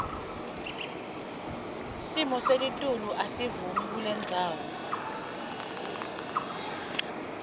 simoselitulu asivumi kulendzawo